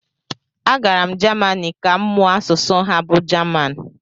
agara m Jamanị ka m mụọ asụsụ ha bụ jaman